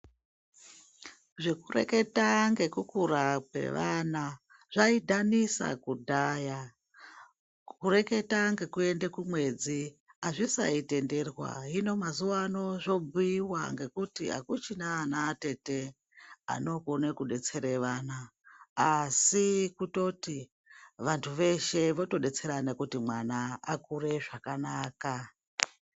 Zvekureketa ngekukura kwevana zvaidhanisa kudhaya, kureketa ngekuende kumwedzi azvisaitenderwa, hino mazuwano zvobhuiwa ngekuti akuchina ana atete anokone kudetsera vana, asi kutoti vantu veshe votodetserana kuti mwana akure zvakanaka.